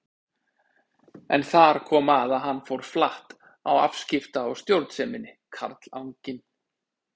En þar kom að hann fór flatt á afskipta- og stjórnseminni, karlanginn.